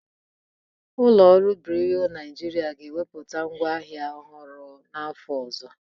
Ụlọ ọrụ Briwiri Naịjịrịa ga-ewepụta ngwa ahịa ọhụrụ n'afọ ọzọ.